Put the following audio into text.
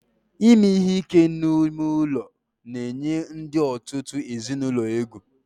Ime ihe ike n'ime ụlọ na-eyi ndị òtù ezinụlọ egwu